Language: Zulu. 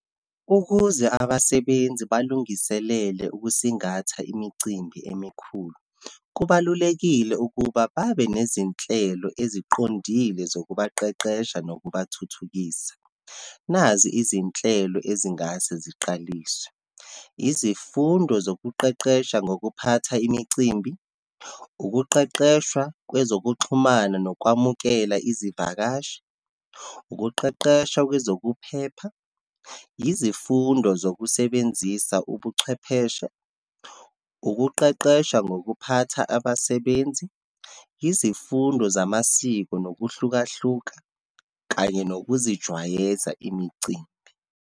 Ukuze abasebenzi balungiselele ukusingatha imicimbi emikhulu, kubalulekile ukuba babe nezinhlelo eziqondile zokubaqeqesha nokubathuthukisa. Nazi izinhlelo ezingase ziqaliswe. Izifundo zokuqeqesha ngokuphatha imicimbi, ukuqeqeshwa kwezokuxhumana nokwamukela izivakashi, ukuqeqeshwa kwezokuphepha, izifundo zokusebenzisa ubuchwepheshe, ukuqeqesha ngokuphatha abasebenzi, izifundo zamasiko nokuhlukahluka, kanye nokuzijwayeza imicimbi.